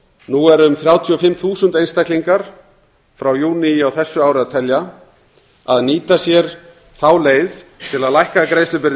nú eru um þrjátíu og fimm þúsund einstaklingar frá júní á þessu ári að telja að nýta sér þá leið til að lækka greiðslubyrði